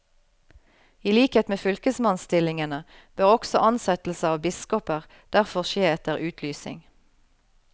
I likhet med fylkesmannsstillingene bør også ansettelse av biskoper derfor skje etter utlysing.